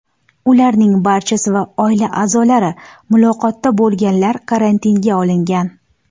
Ularning barchasi va oila a’zolari, muloqotda bo‘lganlar karantinga olingan.